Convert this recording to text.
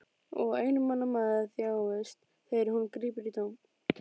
Og einmana maður þjáist þegar hann grípur í tómt.